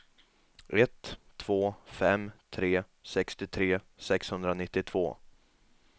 ett två fem tre sextiotre sexhundranittiotvå